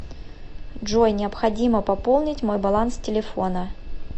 джой необходимо пополнить мой баланс телефона